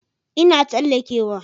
Ina tsalleke wa